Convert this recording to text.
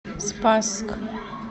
спасск